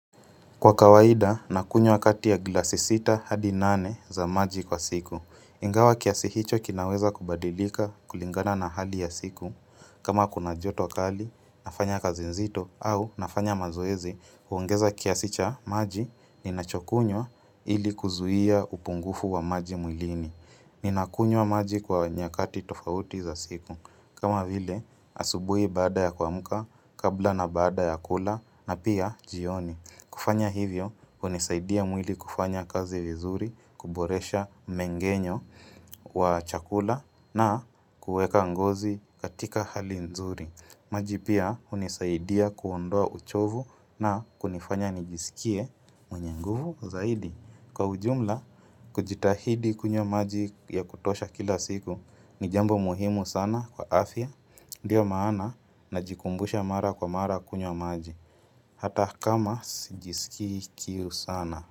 Kwa kawaida, nakunywa kati ya glasi sita hadi nane za maji kwa siku. Ingawa kiasi hicho kinaweza kubadilika kulingana na hali ya siku. Kama kuna joto kali, nafanya kazi nzito, au nafanya mazoezi, huongeza kiasi cha maji, ninachokunywa ili kuzuia upungufu wa maji mwilini. Ninakunywa maji kwa nyakati tofauti za siku. Kama vile, asubuhi baada ya kuamka, kabla na baada ya kula, na pia jioni. Kufanya hivyo, hunisaidia mwili kufanya kazi vizuri, kuboresha mmengenyo wa chakula na kueka ngozi katika hali nzuri. Maji pia, hunisaidia kuondoa uchovu na kunifanya nijisikie mwenye nguvu zaidi. Kwa ujumla, kujitahidi kunywa maji ya kutosha kila siku, ni jambo muhimu sana kwa afya, ndiyo maana najikumbusha mara kwa mara kunywa maji. Hata kama sijiskii kiu sana.